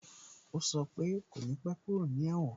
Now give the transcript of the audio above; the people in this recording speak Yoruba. O sọ pe "kò ní pẹ́ kúrò ní èwòn"